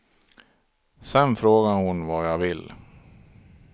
Sen frågar hon vad jag vill.